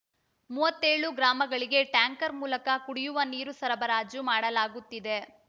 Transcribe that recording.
ಮೂವತೇಳು ಗ್ರಾಮಗಳಿಗೆ ಟ್ಯಾಂಕರ್‌ ಮೂಲಕ ಕುಡಿಯುವ ನೀರು ಸರಬರಾಜು ಮಾಡಲಾಗುತ್ತಿದೆ